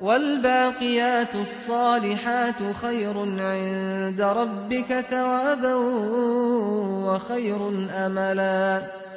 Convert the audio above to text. وَالْبَاقِيَاتُ الصَّالِحَاتُ خَيْرٌ عِندَ رَبِّكَ ثَوَابًا وَخَيْرٌ أَمَلًا